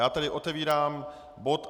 Já tedy otevírám bod